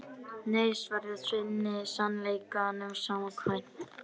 Nei, svarar Svenni sannleikanum samkvæmt.